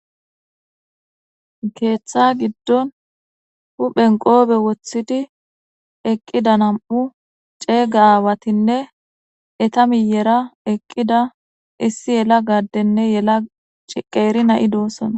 keeththa giddon huphen qoobe woththidi eqqida nam7u ceega aawatinne eta miyera eqqida issi yela gaddenne yela ciqeeri na7i doossonna